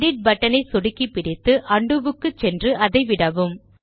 edit button ஐ சொடுக்கிப்பிடித்து undo க்கு சென்று அதைவிடவும்